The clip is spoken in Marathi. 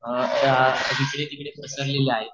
हिकडे तिकडे पसरले ले हायेत